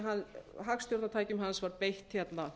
að hagstjórnartækjum hans var beitt hérna